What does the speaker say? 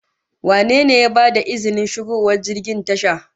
Wane ne ya bada izinin shigowar jirgin tasha?